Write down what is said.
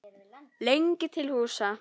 lengi til húsa.